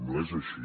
no és així